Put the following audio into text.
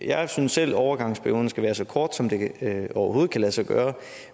jeg synes selv at overgangsperioden så skal være så kort som det overhovedet kan lade sig gøre